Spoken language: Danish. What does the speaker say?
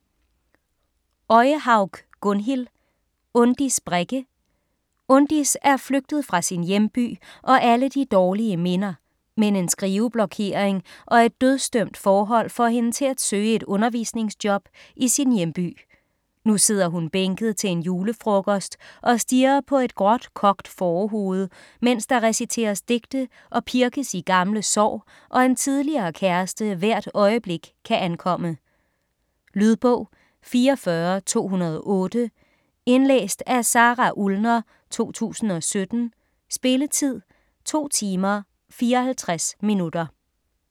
Øyehaug, Gunnhild: Undis Brekke Undis er flygtet fra sin hjemby og alle de dårlige minder, men en skriveblokering og et dødsdømt forhold, får hende til at søge et undervisningsjob i sin hjemby. Nu sidder hun bænket til en julefrokost og stirrer på et gråt, kogt fårehoved, mens der reciteres digte og pirkes i gamle sår og en tidligere kæreste hvert øjeblik kan ankomme. Lydbog 44208 Indlæst af Sara Ullner, 2017. Spilletid: 2 timer, 54 minutter.